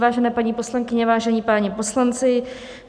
Vážené paní poslankyně, vážení páni poslanci.